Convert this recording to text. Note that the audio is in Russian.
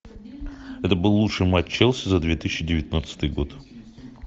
это был лучший матч челси за две тысячи девятнадцатый год